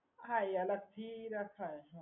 હા એ અલગ થી રાખવાની